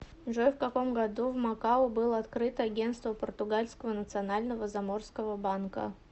джой в каком году в макао было открыто агенство португальского национального заморского банка